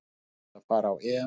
Ég ætla að fara á EM